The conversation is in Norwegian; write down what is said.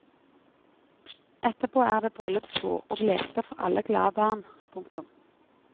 Etterpå er det bryllupsbord og leker for alle glade barn. punktum